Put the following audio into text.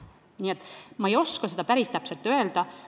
Nii et ma ei oska seda päris täpselt öelda.